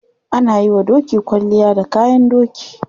Ana yiwa doki kwalliya da kayan doki.